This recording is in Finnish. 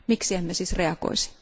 Miksi emme siis reagoisi?